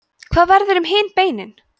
hvað verður um hin beinin